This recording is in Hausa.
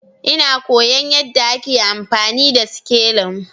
Ina koyon yadda ake amfani da sikelin